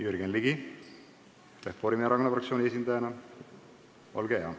Jürgen Ligi Reformierakonna fraktsiooni esindajana, olge hea!